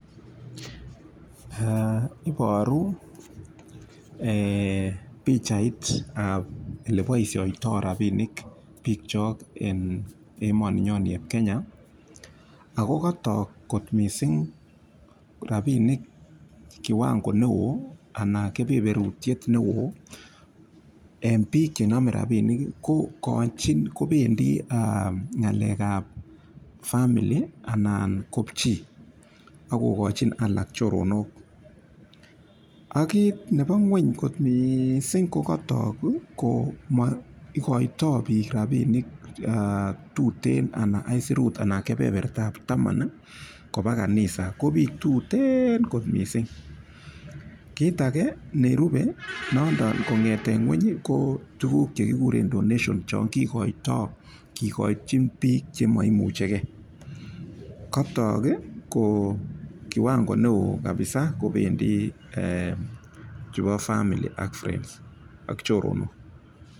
Iboru pichait ab ole boisioto rabinik biik chok en emoni nyon ni eb Kenya, ago kotok kot mising rabinik kiwango ne oo anan kebeberutiet neo en biik che nome rabinik ko kobendi ng'alek ab fmaily anan kopchi ak kogochin alak choronok. Ak kit nebo ng'weny mising ko kotok komoigoitoi biik rabinik tuten anan aisurut anan kebebertab taman koba kanisa ko biik tuteen mising. Kit age nerupe nondon ko ng'eten ng'weny ko tuguk che kiguren donation chon kigoitoi kigochin biik chemoimuche ge. Kotok ko kiwango neo kabisa kobendi chubo family ak friends ak choronok